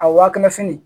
A waakɛnɛ fini